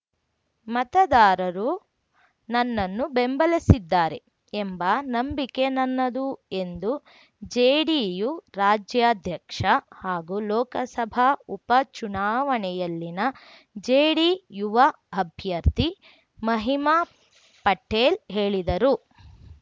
ಮತದಾರರು ನನ್ನನ್ನು ಬೆಂಬಲಸಿದ್ದಾರೆ ಎಂಬ ನಂಬಿಕೆ ನನ್ನದು ಎಂದು ಜೆಡಿಯು ರಾಜ್ಯಾಧ್ಯಕ್ಷ ಹಾಗೂ ಲೋಕಸಭಾ ಉಪ ಚುನಾವಣೆಯಲ್ಲಿನ ಜೆಡಿಯುವ ಅಭ್ಯರ್ಥಿ ಮಹಿಮಾ ಪಟೇಲ್‌ ಹೇಳಿದರು